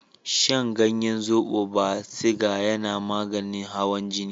Shan ganyen zobo ba siga yana maganin hawan jini.